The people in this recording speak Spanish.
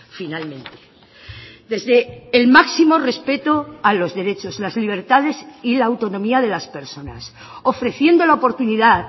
finalmente desde el máximo respeto a los derechos las libertades y la autonomía de las personas ofreciendo la oportunidad